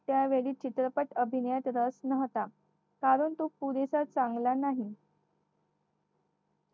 त्यावेळी चित्रपट अभिनयात रस नव्हता कारण तो पुरेसा चांगला नाही.